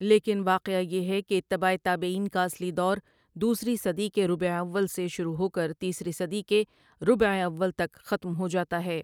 لیکن واقعہ یہ ہے کہ اتباعِ تابعین کا اصلی دور دوسری صدی کے ربع اوّل سے شروع ہوکر تیسری صدی کے ربع اوّل تک ختم ہوجاتا ہے ۔